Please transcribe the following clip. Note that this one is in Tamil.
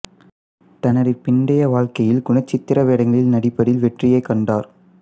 தனது பிந்தைய வாழ்க்கையில் குணச்சித்திர வேடங்களில் நடிப்பதில் வெற்றியைக் கண்டார்